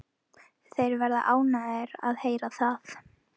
Þeir verða ánægðir að heyra það.